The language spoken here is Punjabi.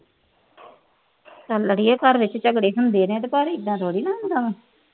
ਹਰ ਘਰ ਚ ਲੜਾਈ ਝਗੜੇ ਹੁੰਦੇ ਨੇ, ਆਏ ਥੋੜਾ ਹੁੰਦਾ ਆ।